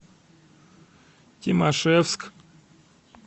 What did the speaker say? тимашевск